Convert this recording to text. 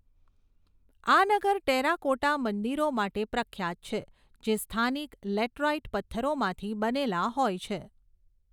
આ નગર ટેરાકોટા મંદિરો માટે પ્રખ્યાત છે જે સ્થાનિક લેટરાઇટ પથ્થરોમાંથી બનેલા હોય છે.